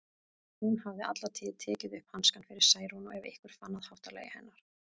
Hún hafði alla tíð tekið upp hanskann fyrir Særúnu ef einhver fann að háttalagi hennar.